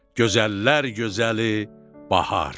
Gözəllər gözəli bahar.